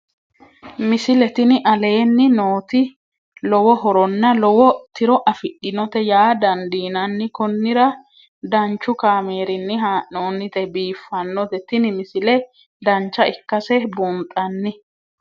misile tini aleenni nooti lowo horonna lowo tiro afidhinote yaa dandiinanni konnira danchu kaameerinni haa'noonnite biiffannote tini misile dancha ikkase buunxanni